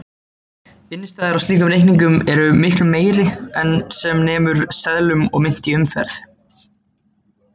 Innstæður á slíkum reikningum eru miklu meiri en sem nemur seðlum og mynt í umferð.